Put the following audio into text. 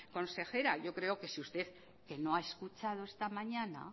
consejera yo creo que si usted que no ha escuchado esta mañana